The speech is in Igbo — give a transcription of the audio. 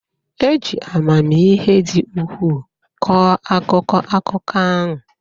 E ji amamihe dị ukwuu kọọ akụkọ akụkọ ahụ.